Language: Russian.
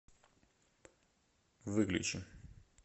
выключи